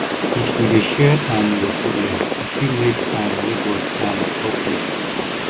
if you dey share um your problem e fit make um nebors um help you